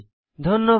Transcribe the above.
ধন্যবাদ